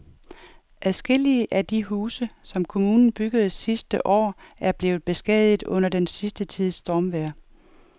Adskillige af de huse, som kommunen byggede sidste år, er blevet beskadiget under den sidste tids stormvejr.